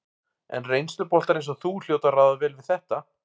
En reynsluboltar eins og þú hljóta að ráða vel við þetta?